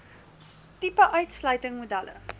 tipe uitsluiting modelle